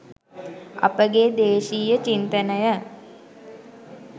අප ගේ දේශීය චින්තනය